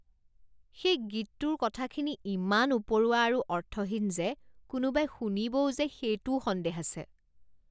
সেই গীতটোৰ কথাখিনি ইমান উপৰুৱা আৰু অৰ্থহীন যে কোনোবাই শুনিবও যে সেইটোও সন্দেহ আছে।